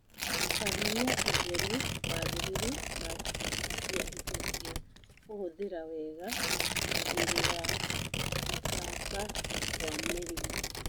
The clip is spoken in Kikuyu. Tabania ũtheru mwagĩrĩru na gũthambia indo cia kũhũthĩra wega kũgirĩrĩria gũtamba kwa mĩrimu